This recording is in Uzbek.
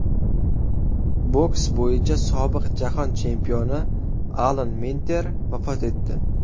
Boks bo‘yicha sobiq Jahon chempioni Alan Minter vafot etdi.